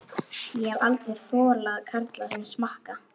Ég hef aldrei þolað karla sem smakka.